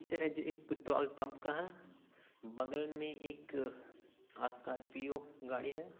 Picture है जो एक पेट्रोल पम्प का है बगल में एक अ आ स्कार्पियो गाड़ी है।